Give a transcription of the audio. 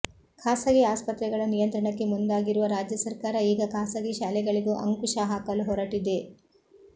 ಖಾಸಗಿ ಆಸ್ಪತ್ರೆಗಳ ನಿಯಂತ್ರಣಕ್ಕೆ ಮುಂದಾಗಿರುವ ರಾಜ್ಯ ಸರ್ಕಾರ ಈಗ ಖಾಸಗಿ ಶಾಲೆಗಳಿಗೂ ಅಂಕುಶ ಹಾಕಲು ಹೊರಟಿದೆ